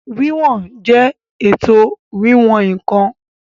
Wíwọn jẹ́ ètò wíwọ̀n ǹkan